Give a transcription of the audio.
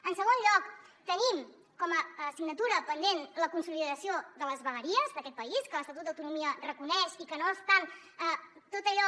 en segon lloc tenim com a assignatura pendent la consolidació de les vegueries d’aquest país que l’estatut d’autonomia reconeix i que no estan tot allò